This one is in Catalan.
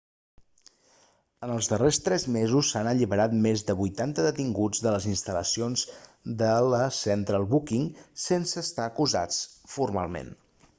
en els darrers tres mesos s'han alliberat més de 80 detinguts de les instal·lacions de la central booking sense estar acusats formalment